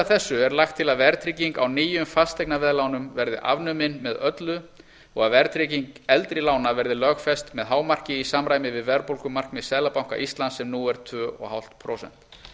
þessu er lagt til að verðtrygging á nýjum fasteignaveðlánum verði afnumin með öllu og að verðtrygging eldri lána verði lögfest með hámarki í samræmi við verðbólgumarkmið seðlabanka íslands sem nú er tvö og hálft prósent